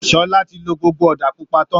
Sọlá ti lo gbogbo ọ̀da pupa tán